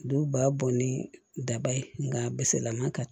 Du ba bɔn ni daba ye nka a misɛlaman ka